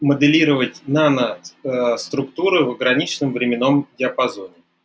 моделировать нано структуры в ограниченном временном диапазоне